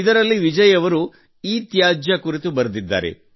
ಇದರಲ್ಲಿ ವಿಜಯ್ ಅವರು ಇತ್ಯಾಜ್ಯ ಕುರಿತು ಬರೆದಿದ್ದಾರೆ